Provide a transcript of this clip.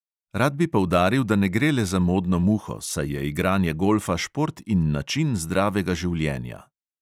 Rad bi poudaril, da ne gre le za modno muho, saj je igranje golfa šport in način zdravega življenja.